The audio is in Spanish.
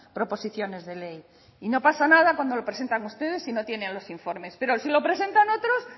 proposiciones de ley y no pasa nada cuando lo presentan ustedes y no tiene los informes pero si lo presentan otros